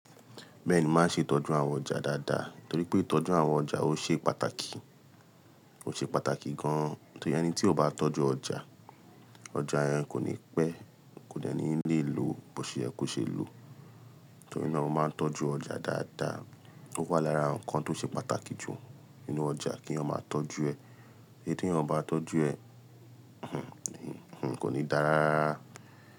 Bẹ́ẹ̀ ni, mo máa ṣe ìtọ́jú àwọn ọjà dáadáa, torí pé ìtọ́jú àwọn ọjà ó ṣe pàtàkì, ó ṣe pàtàkì gan-an. Torí ẹni tí ó bá tọ́jú ọjà, ọjà yẹn kò ní pẹ́, kò dẹ́ni nílé lo, bó ṣe yẹ kó ṣe lo. Torí náà mo máa ń tọ́jú ọjà dáadáa. Ó wà lára nǹkan tó ṣe pàtàkì jù nínú ọjà kí eyan máa tọ́jú ẹ. Tori tí eyan o bá tọ́jú ẹ, kò ní dára rárá.